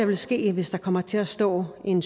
vil ske hvis der kommer til at stå en